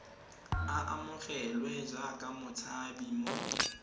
a amogelwe jaaka motshabi mo